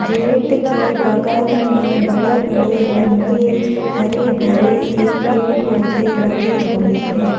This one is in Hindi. गेट के बगल में बड़े-बड़े लम्बे हरे-भरे से पेड़-पौधे लगे हुए हैं।